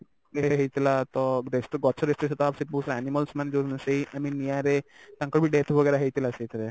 ହେଇଥିଲା ତ destroy ଗଛ destroy animals ମାନେ i mean ନିଆଁରେ ତାଙ୍କର ବି death वगेरा ହେଇଥିଲା ସେଥିରେ